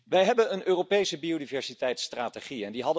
Wij hebben een Europese biodiversiteitstrategie.